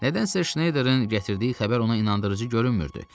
Nədənsə Şneyderin gətirdiyi xəbər ona inandırıcı görünmürdü.